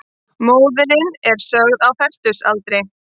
Móðirin er sögð á fertugsaldri